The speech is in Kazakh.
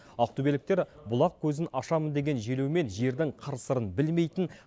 ақтөбеліктер бұлақ көзін ашамын деген желеумен жердің қыр сырын білмейтін